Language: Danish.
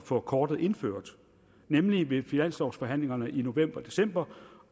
få kortet indført nemlig ved finanslovsforhandlingerne i november og december